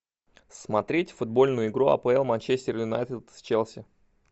смотреть футбольную игру апл манчестер юнайтед с челси